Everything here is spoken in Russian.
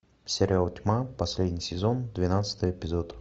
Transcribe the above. сериал тьма последний сезон двенадцатый эпизод